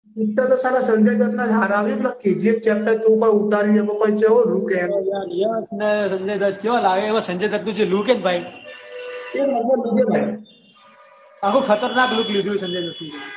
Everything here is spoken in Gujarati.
પિક્ચર તો હારા સંજય દત્ત ના હારા k. g. f chapter માં ઉતાર્યું છે એમાં કેવો લુક છે એનો? યશ અને સંજય દત્ત ચેવા લાગે એમાં સંજય દત્તનો જે લુક છે ને ભાઈ એક નંબર લુક છે ભાઈ આખો ખતરનાક લુક લીધો છે સંજય દત્તનો